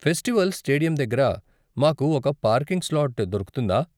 Festival stadium దగ్గర మాకు ఒక పార్కింగ్ స్లాట్ దొరుకుతుందా?